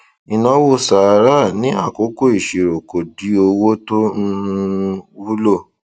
ìnáwó sàráà ní àkókò ìṣirò kò di owó tó um wúlò